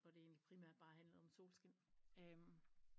Hvor det endeligt primærk bare handlede om solskin